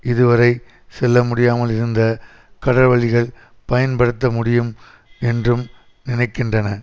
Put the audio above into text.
இதுவரை செல்ல முடியாமல் இருந்த கடல்வழிகள் பயன்படுத்த முடியும் என்றும் நினைக்கின்றன